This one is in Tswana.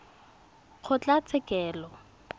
kgotlatshekelo